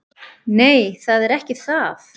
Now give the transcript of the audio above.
Nei, það er ekki það.